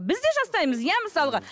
бізде жасаймыз иә мысалға